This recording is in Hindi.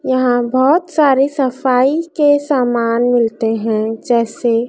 यहां बहुत सारे सफाई के समान मिलते है जैसे--